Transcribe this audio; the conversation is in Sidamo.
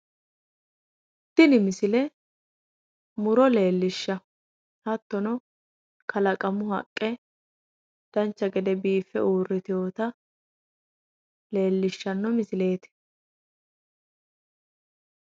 Tini misile muro leellishanno. Hattono kalaqamu haqqe dancha gede biiffe uuritewota leellishshanno misileeti.